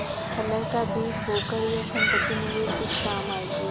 कलह का बीज बोकर यह सम्पत्ति मेरे किस काम आयेगी